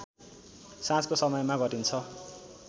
साँझको समयमा गरिन्छ